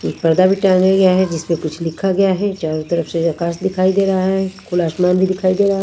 एक पर्दा भी टांगा गया है जिसमें कुछ लिखा गया है चारों तरफ से आकाश दिखाई दे रहा है खुला आसमान भी दिखाई दे रहा है।